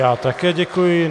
Já také děkuji.